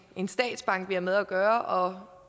en statsbank vi har med at gøre og